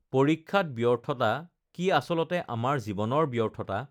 পৰীক্ষাত ব্যৰ্থতা কি আচলতে আমাৰ জীৱনৰ ব্যৰ্থতা?